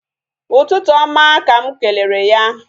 Ụtụtụ oma ka mụ kelere ya